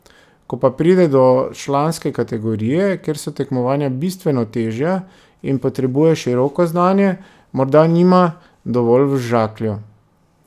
Ko pa pride do članske kategorije, kjer so tekmovanja bistveno težja, in potrebuje široko znanje, morda nima dovolj v žaklju.